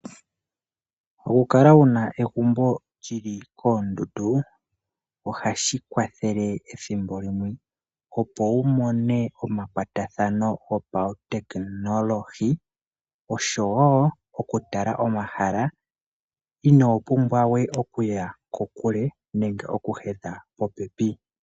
Oku kala wuna egumbo lyili koondundu ohashi kwathele ethimbo limwe opo wumone omakwatathano gopautekinolohi oshowo oku tala omahala ino pumbwa okuya kokule nenge oku hedha popepi.